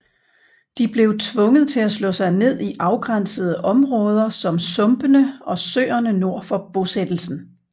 De blev tvunget til at slå sig ned i afgrænsede områder som sumpene og søerne nord for bosættelsen